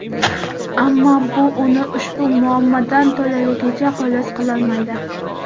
Ammo bu uni ushbu muammodan to‘laligicha xalos qilolmaydi.